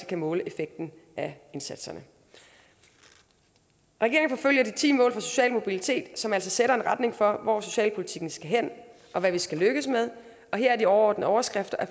kan måle effekten af indsatserne regeringen forfølger de ti mål for social mobilitet som altså sætter en retning for hvor socialpolitikken skal hen og hvad vi skal lykkes med og her er de overordnede overskrifter at